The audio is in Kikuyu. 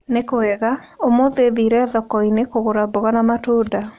Nĩ kwega. ũmũthĩ thire thoko-inĩ kũgũra mboga na matunda.